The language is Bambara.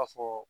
Ka fɔ